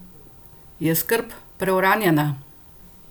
Je skrb preuranjena?